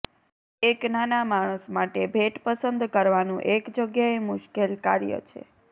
એક નાના માણસ માટે ભેટ પસંદ કરવાનું એક જગ્યાએ મુશ્કેલ કાર્ય છે